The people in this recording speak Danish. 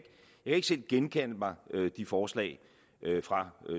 ikke selv genkalde mig de forslag fra